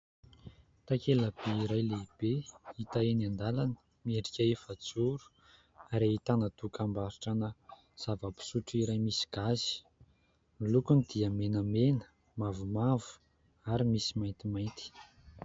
Takela-by iray lehibe hita eny andalana, miendrika efa-joro ary ahitàna tokambarotrana zava-pisotro iray misy gazy. Ny lokony dia menamena, mavomavo ary misy maintimainty.